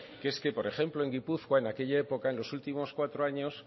que es que por ejemplo en gipuzkoa en aquella época en los últimos cuatro años